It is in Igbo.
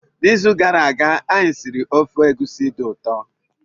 N'izu gara aga, anyị siri ofe egusi dị ụtọ.